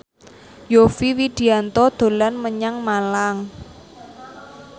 Yovie Widianto dolan menyang Malang